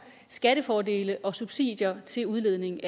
skattefordele og subsidier til udledning